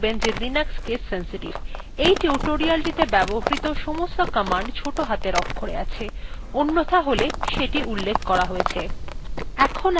মনে রাখবেন যে linux case sensitive এই টিউটোরিয়ালটিতে ব্যবহৃত সমস্ত commands note হাতের অক্ষরে আছে অন্যথা all সেটি উল্লেখ করা হয়েছে